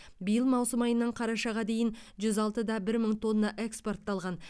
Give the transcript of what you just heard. биыл маусым айынан қарашаға дейін жүз алты да бір мың тонна экспортталған